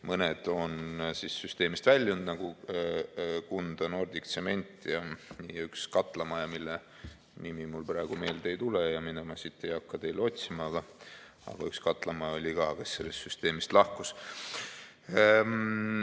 Mõni on süsteemist väljunud, nagu Kunda Nordic Tsement ja üks katlamaja, mille nimi mul praegu meelde ei tule ja mida ma siit ei hakka teile otsima, aga üks katlamaja oli ka, kes sellest süsteemist lahkus.